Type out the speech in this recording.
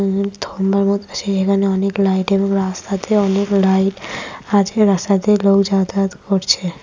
এখানে অনেক লাইট এবং রাস্তাতে অনেক লাইট আছে রাস্তা দিয়ে লোক যাতায়াত করছে।